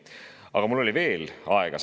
Aga mul oli veel aega.